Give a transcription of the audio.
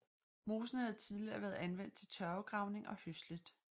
Mosen havde tidligere været anvendt til tørvegravning og høslet